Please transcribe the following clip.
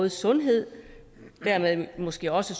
sundhed og dermed måske også